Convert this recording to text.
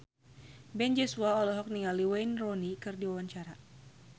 Ben Joshua olohok ningali Wayne Rooney keur diwawancara